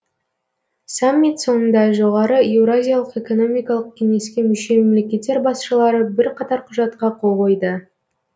саммит соңында жоғары еуразиялық экономикалық кеңеске мүше мемлекеттер басшылары бірқатар құжатқа қол қойды